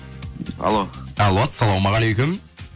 алло алло ассаламағалейкум